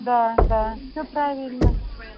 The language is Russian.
да да все правильно